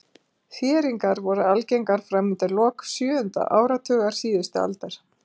Þéringar voru algengar fram undir lok sjöunda áratugar síðustu aldar.